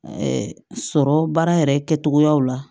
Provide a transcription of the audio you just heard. sɔrɔ baara yɛrɛ kɛcogoyaw la